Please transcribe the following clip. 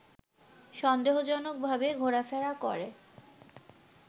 সন্দেহজনকভাবে ঘোরাফেরা করে